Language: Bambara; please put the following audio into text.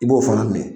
I b'o fana minɛ